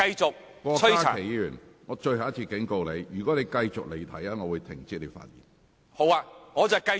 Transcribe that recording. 郭家麒議員，我最後一次警告你，如果你繼續離題，我會請你停止發言。